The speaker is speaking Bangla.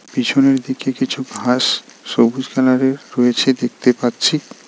পিছনের দিকে কিছু ঘাস সবুজ কালারের রয়েছে দেখতে পাচ্ছি .